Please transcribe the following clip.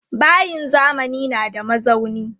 Bayin zamani na da mazauni.